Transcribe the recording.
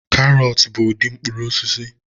Karọt bụ ụdị mkpụrụ osisi